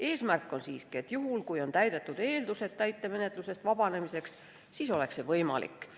Eesmärk on siiski see, et juhul, kui on täidetud eeldused täitemenetlusest vabanemiseks, siis oleks see võimalik.